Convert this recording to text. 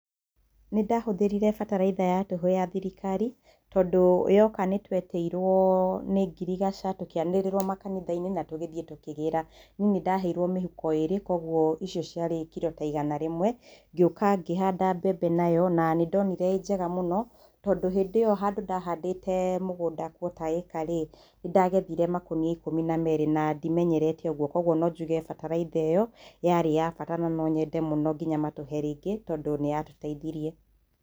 Nĩ ndahũthĩrire bataraitha ya tũhũ ya thirikari tondũ yoka nĩ twetĩirwo nĩ ngirigaca tũkĩanĩrĩrwo makanitha-ini na tũgĩthiĩ tũkĩgĩra, nĩ ndaheirwo mĩhuko ĩrĩ kwoguo icio ciarĩ kiro ta igana rĩmwe, ngĩũka ngĩhanda mbembe nayo na nĩndonire ĩrĩ njega mũno tondũ hĩndĩ ĩyo handũ ndahandĩte mũgũnda quater ĩka rĩ, nĩ ndagethire makoria ikũmbi na merĩ na ndimenyerete ũguo kwoguo no njuge bataraitha ĩyo yarĩ ya bata na nonyende mũno nginya matũhe rĩngĩ tondũ nĩ yatũteithirie.